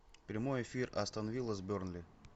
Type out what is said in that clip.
прямой эфир астон вилла с бернли